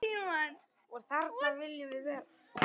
Og þarna viljum við vera.